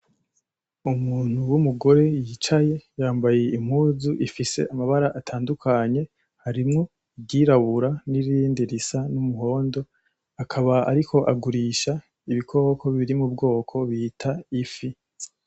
Umuntu w'umugore yicaye yambaye impuzu ifise amabara atandukanye harimwo iryirabura n'irindi risa n'umuhondo, akaba ariko agurisha ibikoko biri mubwoko bita ifi.